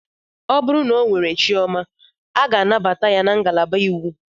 O bụrụ na ọ nwere chioma, a ga-enye ya nnabata na ngalaba iwu.